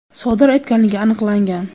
sodir etganligi aniqlangan.